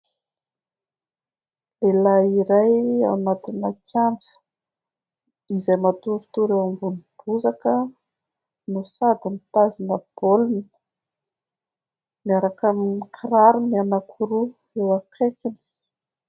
Lehilahy iray ao anatina kianja, izay matoritory eo ambony bozaka, no sady mitazona baolina, miaraka amin'ny kirarony anankiroa eo akaikiny.